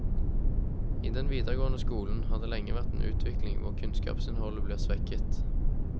I den videregående skolen har det lenge vært en utvikling hvor kunnskapsinnholdet blir svekket.